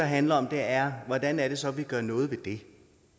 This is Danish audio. handler om er hvordan er det så at vi gør noget ved det